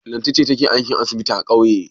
Lanti ce take aikin asibiti a ƙauye.